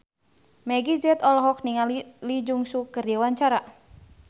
Meggie Z olohok ningali Lee Jeong Suk keur diwawancara